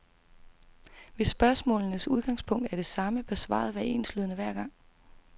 Hvis spørgsmålenes udgangspunkt er det samme, bør svaret være enslydende hver gang.